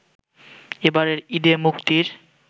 এবারের ঈদে মুক্তির